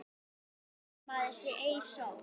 Dæmdur maður sá ei sól.